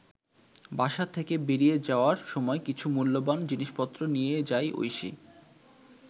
বাসা থেকে বেরিয়ে যাওয়ার সময় কিছু মূল্যবান জিনিসপত্র নিয়ে যায় ঐশী।